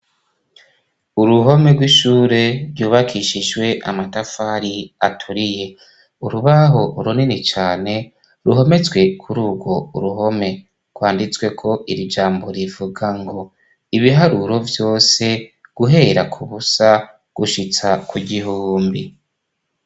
Uruhome rw'ishure ryubakishijwe amatafari aturiye urubaho urunini cane ruhometswe kuri urwo uruhome rwanditswe ko irijambo rivuga ngo ibiharuro vyose guhera ku busa gushitsa ku gihumbi.